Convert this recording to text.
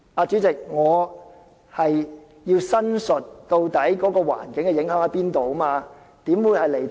主席，我要申述它對環境造成的影響，怎會是離題呢？